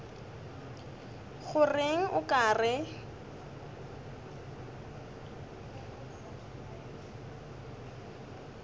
go reng o ka re